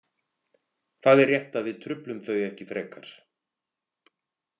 Það er rétt að við truflum þau ekki frekar.